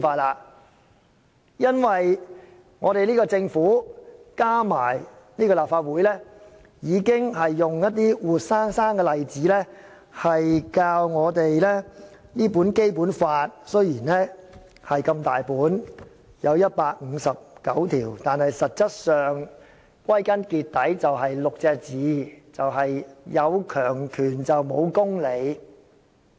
原因是，政府和立法會已經用活生生的例子教導我們，雖然《基本法》十分厚，載有159項條文，但其實可用6個字概括，就是"有強權無公理"。